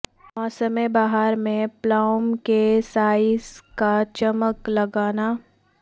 موسم بہار میں پلاوم کے سائز کا چمک لگانا